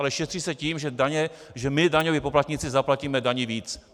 Ale šetří se tím, že my daňoví poplatníci zaplatíme daní víc.